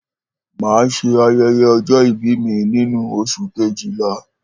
Màá s̩e aye̩ye̩ o̩jó̩ ìbí mi nínú o̩s̩ù kejìlá